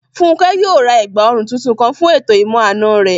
Fúnkẹ́ yóò ra ẹ̀gbà òrun tuntun kan fún ètò ìmọ-àna rẹ̀